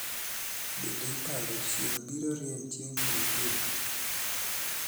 Bende iparo chieng' biro rieny chieng jumapil